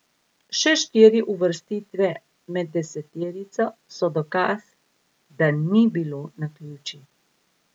Še štiri uvrstitve med deseterico so dokaz, da ni bilo naključij.